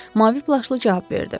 Mavi plaşlı cavab verdi.